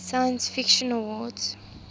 science fiction awards